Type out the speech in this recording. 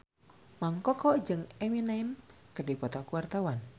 Mang Koko jeung Eminem keur dipoto ku wartawan